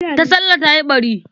Tasallah ta yi ɓari.